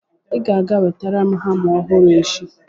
ị ga-aga wetara m hama ọhụrụ echi!